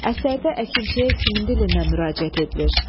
Əsərdə əkinçiyə kimin dilindən müraciət edilir?